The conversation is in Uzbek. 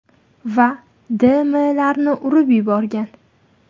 va D.M.larni urib yuborgan.